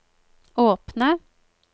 åpne